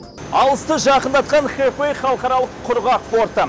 алысты жақындатқан хэфэй халықаралық құрғақ порты